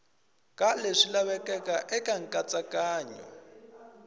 ka leswi lavekaka eka nkatsakanyo